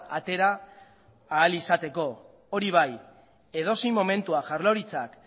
atera ahal izateko hori bai edozein momentuan jaurlaritzak